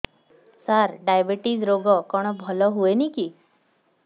ସାର diabetes ରୋଗ କଣ ଭଲ ହୁଏନି କି